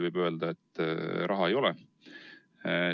Alati võib öelda, et raha ei ole.